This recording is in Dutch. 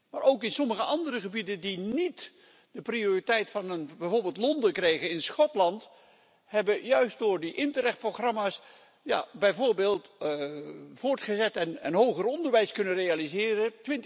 Maar ook in sommige andere gebieden, die niet de prioriteit van bijvoorbeeld Londen kregen, in Schotland, hebben ze door die Interreg programma's bijvoorbeeld voortgezet en hoger onderwijs kunnen realiseren.